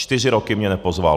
Čtyři roky mě nepozval.